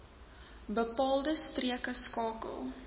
bepaalde streke skakel